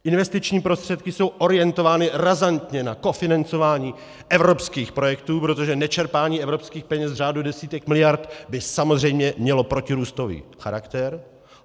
Investiční prostředky jsou orientovány razantně na kofinancování evropských projektů, protože nečerpání evropských peněz v řádu desítek miliard by samozřejmě mělo protirůstový charakter.